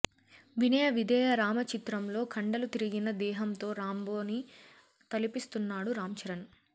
వినయ విధేయ రామ చిత్రం లో కండలు తిరిగిన దేహంతో రాంబో ని తలపిస్తున్నాడు రాంచరణ్